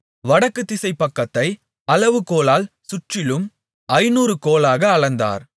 வடக்கு திசைப்பக்கத்தை அளவுகோலால் சுற்றிலும் ஐந்நூறு கோலாக அளந்தார்